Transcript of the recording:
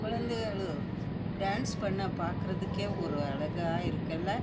கொலைழங்க dance பண்றத பாக்க அழகா இருக்கு லே